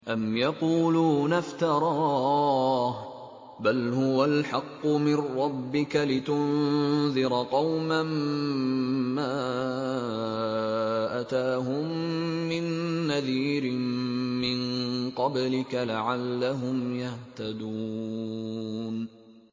أَمْ يَقُولُونَ افْتَرَاهُ ۚ بَلْ هُوَ الْحَقُّ مِن رَّبِّكَ لِتُنذِرَ قَوْمًا مَّا أَتَاهُم مِّن نَّذِيرٍ مِّن قَبْلِكَ لَعَلَّهُمْ يَهْتَدُونَ